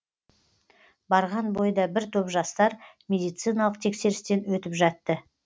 барған бойда бір топ жастар медициналық тексерістен өтіп жатты